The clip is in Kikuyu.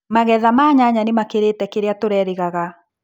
Magetha ma nyanya nĩmakĩrĩte kĩrĩa tũrerĩgaga.